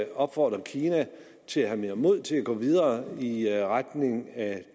og opfordre kina til at have mere mod til at gå videre i retning af